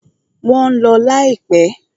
Wọ́n ń lọ láìpẹ́.